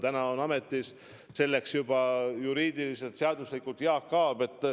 Täna on selles ametis juba päris seaduslikult Jaak Aab.